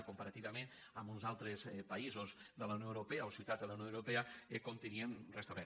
o comparativament amb uns altres països de la unió europea o ciutats de la unió europea com teníem res·tablert